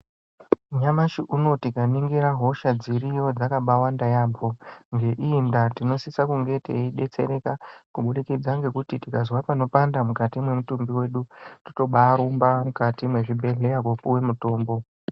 Nyamashi unou tikaningira hosha dziriyo dzakambaawanda yampho ngeiyi ndaa tinosise kunge teidetsereka kubudikidza ngekuti tikazwa panopanda mukati mwemutumbi mwedu totombarumba mukati mwechibhedhleya kopuwa mutombo.